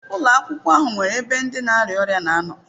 Ụlọ akwụkwọ ahụ nwere ebe ndi na-arịa ọrịa na anọ.